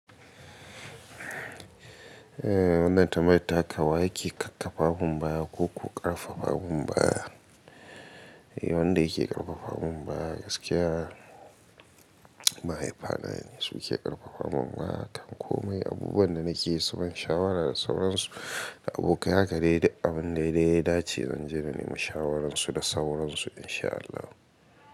Wannan tambaya ta ka yake kkakkafa mumbaya ko ku karfafa mumbaya. Wanda yake karfafa mumbaya gaskiya, mahaifana ne suke karfafa mun. Ma, tanko mai abubuwan da nake so ban shawara da sauransu da abokaya gare da abun daidai. Ya ce zan je na nemi shawaransu da sauransu insha Allah.